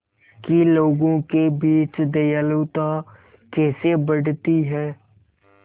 कि लोगों के बीच दयालुता कैसे बढ़ती है